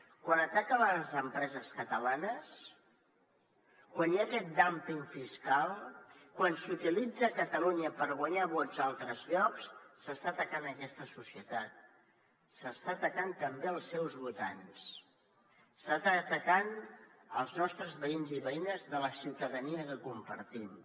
quan ataquen les empreses catalanes quan hi ha aquest dúmping fiscal quan s’utilitza catalunya per guanyar vots a altres llocs s’està atacant aquesta societat s’estan atacant també els seus votants s’estan atacant els nostres veïns i veïnes la ciutadania que compartim